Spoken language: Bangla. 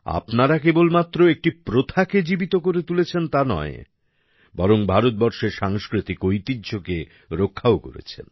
আপনারা কেবলমাত্র একটি প্রথাকে জীবিত করে তুলছেন তা না বরং ভারতবর্ষের সাংস্কৃতিক ঐতিহ্যকে রক্ষাও করছেন